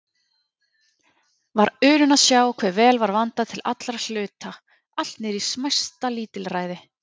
Var unun að sjá hve vel var vandað til allra hluta, allt niðrí smæsta lítilræði.